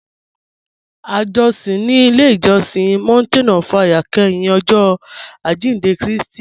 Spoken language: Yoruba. À jọ̀sìn ní ilẹ̀ ìjọ̀sìn Mountain of Fire kẹ́hìn Ọ̀jọ̀ Ajíndẹ̀ Kristi